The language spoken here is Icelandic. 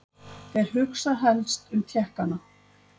Þeir hugsa helstum Tékkana.